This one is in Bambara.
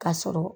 Ka sɔrɔ